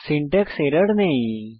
syntax error নেই